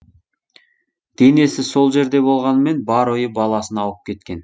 денесі сол жерде болғанымен бар ойы баласына ауып кеткен